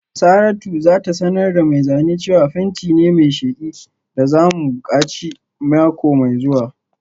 Saratu za ta sanar da mai zane cewa fenti ne mai sheki da za mu buƙaci mako mai zuwa